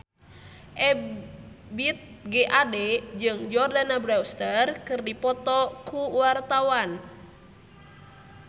Ebith G. Ade jeung Jordana Brewster keur dipoto ku wartawan